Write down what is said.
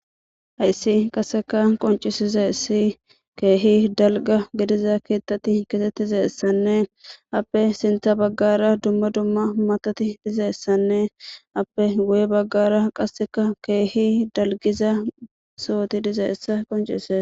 hayssi qaseka qoncisizeesi keehi dalga gediza keettati kasettizeessanne appe sinta baggara dumma dumma matati dizeessanne appe goye baggara qasseka keehi dalgiza sooti dizeessa qoncise